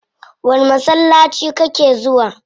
Wani masallaci kake zuwa?